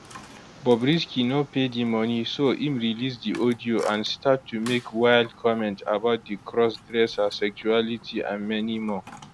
bobrisky no pay di money so im release di audio and start to make wild comment about di cross dresser sexuality and many more